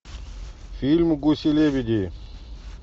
фильм гуси лебеди